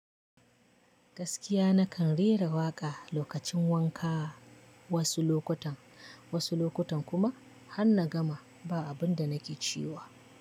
Gaskiya na kan rera waƙa lokacin wanka. Wasu lokutan wasu lokutan kuma han nagama ba abunda nike cewa.